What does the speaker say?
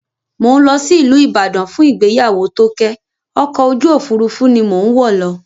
Mò ń lọ sí ìlú Ibadan fún ìgbéyàwó Tóké, ọkọ̀ ojú òfurufú ni mò ń wọ̀ lọ